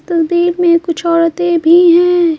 तग्दीर में कुछ औरतें भी हैं।